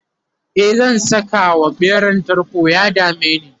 e zan Saka wa ɓeran tarko ya dameni